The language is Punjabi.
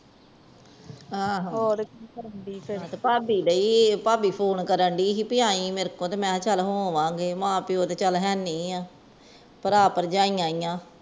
ਏਹੋ ਭਾਬੀ ਭਾਭੀ ਫੋਨ ਕੇਨ ਢਈ ਸੀ ਭੀ ਆਈ ਮੇਰੇ ਕੋਲ, ਮੈ ਚਾਲ ਹੋਵਾਂਗੇ ਮਾਂ ਪਿਓ ਤਾ ਹੈ ਨਹੀਂ ਭਰਾ ਭਰਜਾਈ ਏ ਨੇ